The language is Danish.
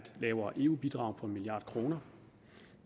lavere eu bidrag på en milliard kroner